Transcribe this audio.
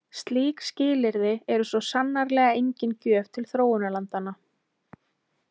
Slík skilyrði eru svo sannarlega engin gjöf til þróunarlandanna.